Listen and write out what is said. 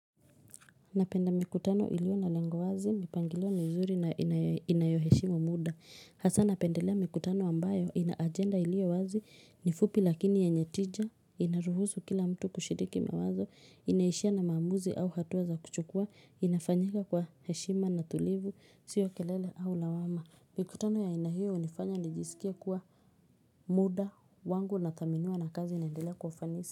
Napenda mikutano iliyo na lengo wazi, mipangilio mizuri na inayo heshimu muda. Hasaa napendelea mikutano ambayo, ina agenda iliyo wazi, ni fupi lakini yenye tija, inaruhusu kila mtu kushiriki mawazo, inaishia na maamuzi au hatua za kuchukua, inafanyika kwa heshima na tulivu, sio kelele au lawama. Mikutano ya aina hiyo hunifanya nijisikie kuwa muda wangu unathaminiwa na kazi inaendelea kwa ufanisi.